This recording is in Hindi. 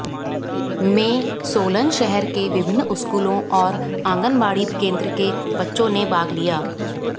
में सोलन शहर के विभिन्न स्कूलोंऔर आंगनबाड़ी केंद्र के बच्चों ने भाग लिया